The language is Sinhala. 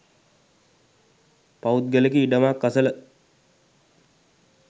පෞද්ගලික ඉඩමක් අසල